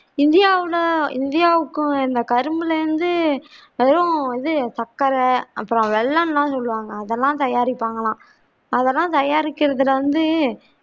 இந்தியாவுல இந்தியாவுக்கும் இந்த கரும்புல இருந்து வெறும் இது சக்கர அப்புறம் வெல்லம்லாம் சொல்வாங்க அதல்லாம் தயாரிப்பாங்களாம் அதெல்லாம் தயாரிக்கிறதுல வந்து